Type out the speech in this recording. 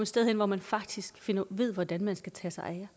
sted hen hvor man faktisk ved hvordan man skal tage sig af